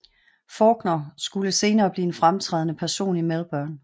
Fawkner skulle senere blive en fremtrædende person i Melbourne